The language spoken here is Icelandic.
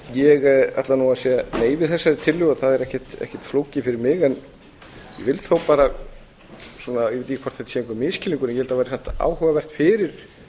ég ætla að segja nei við þessari tillögu það er ekkert flókið fyrir mig en ég vil þó bara ég veit ekki hvort þetta er einhver misskilningur en ég held að það væri samt áhugavert fyrir